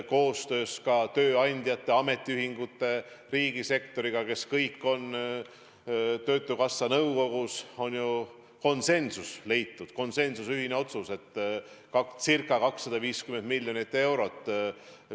Koostöös tööandjate, ametiühingute ja riigisektoriga, kes kõik on töötukassa nõukogus, on ju konsensus leitud, on tehtud ühine otsus ca 250 miljoni euro kohta.